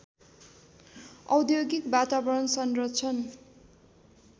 औद्योगिक वातावरण संरक्षण